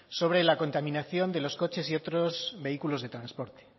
sobre la contaminación de los coches y otros vehículos de transporte